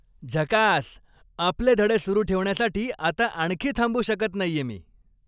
झकास! आपले धडे सुरु ठेवण्यासाठी आता आणखी थांबू शकत नाहीये मी.